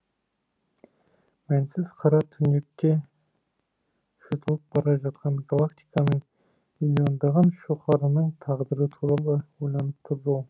мәнсіз қара түнекке жұтылып бара жатқан галактиканың миллиондаған шоқарының тағдыры туралы ойланып тұрды ол